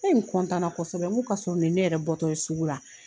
E n kosɛbɛ n ko paseke nin ye ne yɛrɛ bɔ tɔ ye sugu la.